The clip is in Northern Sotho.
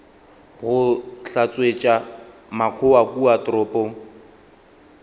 go hlatswetša makgowa kua toropong